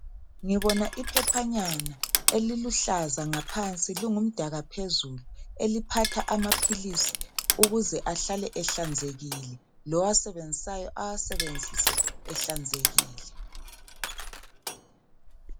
Ngibona iphephanyana eliluhlaza ngaphansi lingumdaka phezulu eliphatha amapilisi ukuze ahlale ehlanzekile lowasebenzisayo awasebenzise ehlanzekile.